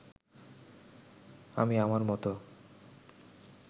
আমি আমার মতো